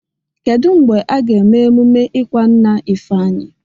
Kedụ mgbe aga eme emume ịkwa nna Ifeanyi?